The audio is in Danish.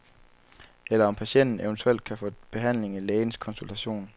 Eller om patienten eventuelt kan få behandling i lægens konsultation.